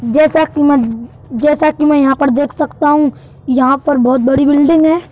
जैसा की जैसा कि मैं यहां पर देख सकता हूं यहां पर बहोत बड़ी बिल्डिंग है।